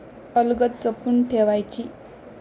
अलगद जपून ठेवायची!